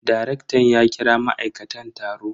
Darektan ya kira ma'aikatan taro.